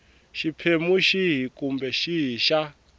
xiphemu xihi kumbe xihi xa